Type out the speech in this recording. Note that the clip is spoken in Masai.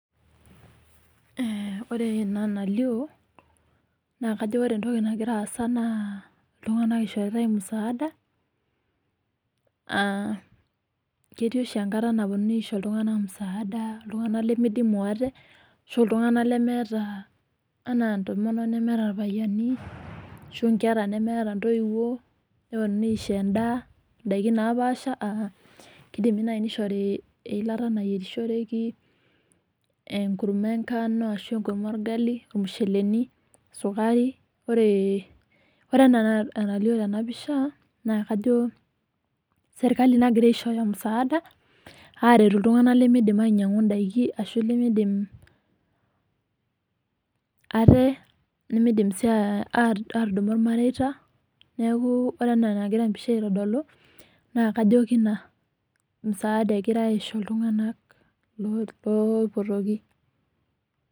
Wore ena nalio, naa kajo wore entoki nakira aasa naa iltung'anak ishoritae musaada. Ketii oshi enkata naponunui aisho iltung'anak musaada, iltung'anak limidimu wate, ashu iltung'anak lemeeta, enaa entomonok nemeeta irpayiani ashu inkera nemeeta intoiuo. Neponunui aisho endaa, indaikin naapaasha aa keidimi naai nishori eilata nayierishoreki, enkurma enganu ashu enkurma orgali, irmusheleni, sukari. Wore enaa enalio tenapisha, naa kajo serkali naakira aishooyo musaada, aaretu iltung'anak limiidim ainyiang'u indaikin ashu limiidim ate. Limiidim sii aatudumu ilmareita, neeku wore ena enakira pisha aitodolu, naa kajo keina msaada ekirai aisho iltunganak loipotoki.